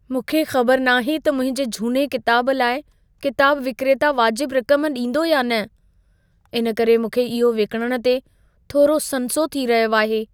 मूंखे ख़बर नाहे त मुंहिंजे झूने किताब लाइ किताब विक्रेता वाजिब रक़म ॾींदो या न। इन करे मूंखे इहो विकिणणु ते थोरो संसो थी रहियो आहे.